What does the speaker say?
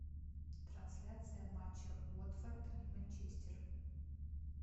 трансляция матча уотфорд и манчестер